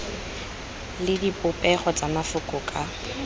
le dipopego tsa mafoko ka